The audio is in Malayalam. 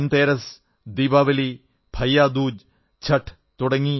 ധൻതേരസ് ദീപാവലി ഭയ്യാദൂജ് ഛഠ്